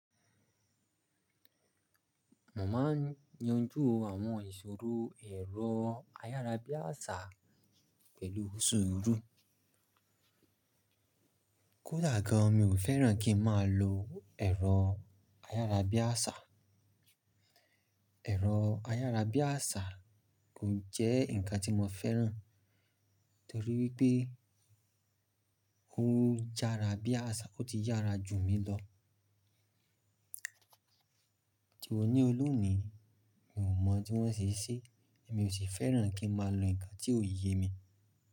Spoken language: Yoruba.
Mo ma n yanju àwọn ìṣòro ẹ̀rọ ayárabíàsá pẹ̀lú sùúrù. Kódà gan, mi ò fẹ́ràn kí n má lo ẹ̀rọ ayárabíàsá. Ẹ̀rọ ayárabíàsá kò jẹ́ ǹkan tí mo fẹ́ràn torí wípé ó yára bí àṣá, ó ti yára jù mi lọ. Di òní olú ni, mi ò mọ̀ tí wọ́n ṣìí ṣe, èmi ò sì fẹ́ràn kí n má lo ǹkan tí ó yẹ mi.